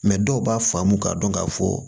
dɔw b'a faamu k'a dɔn k'a fɔ